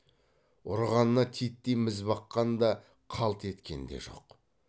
ұрғанына титтей міз баққан да қалт еткен де жоқ